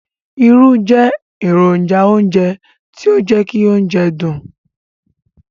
Irú jẹ èrònjà ounjẹ ti o jẹ ki óunjẹ dùn